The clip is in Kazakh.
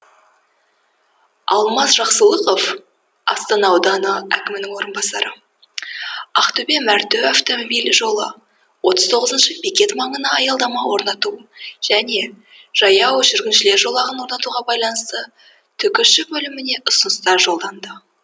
алмаз жақсылықов астана ауданы әкімінің орынбасары ақтөбе мәртө автомобиль жолы отыз тоғызыншы бекет маңына аялдама орнату және жаяу жүргіншілер жолағын орнатуға байланысты түкш бөліміне ұсынысты жолданды